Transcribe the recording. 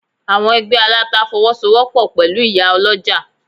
Àwọn Ẹgbẹ́ Aláta Fọwọ́sowọ́pọ̀ pẹ̀lú ìyá Ọlọ́jà.